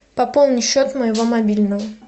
пополни счет моего мобильного